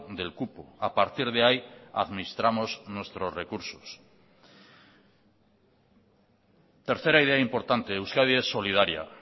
del cupo a partir de ahí administramos nuestros recursos tercera idea importante euskadi es solidaria